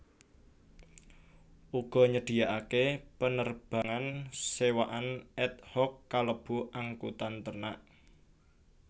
Uga nyediakaké penerbangan sewaan ad hoc kalebu angkutan ternak